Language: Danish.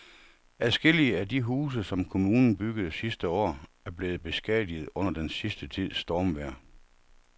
Adskillige af de huse, som kommunen byggede sidste år, er blevet beskadiget under den sidste tids stormvejr.